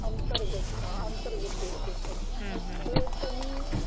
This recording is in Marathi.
अंतर्गत हां अंतर्गत ते आज